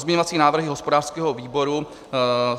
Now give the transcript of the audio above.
Pozměňovací návrhy hospodářského výboru.